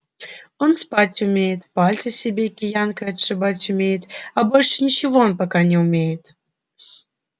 он спать умеет пальцы себе киянкой отшибать умеет а больше ничего он пока не умеет